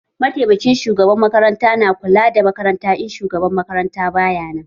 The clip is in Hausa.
Mataimakin shugaban makaranta na kula da makaranta in shugaban makaranta baya nan.